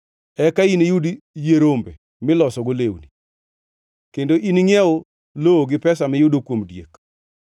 eka iniyud yie rombe milosgo lewni, kendo iningʼiew lowo gi pesa miyudo kuom diek.